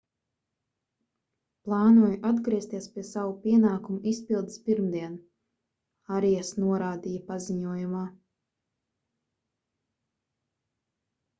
plānoju atgriezties pie savu pienākumu izpildes pirmdien arias norādīja paziņojumā